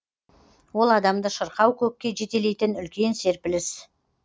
ол адамды шырқау көкке жетелейтін үлкен серпіліс